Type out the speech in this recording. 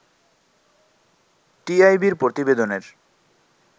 টিআইবি’র প্রতিবেদনের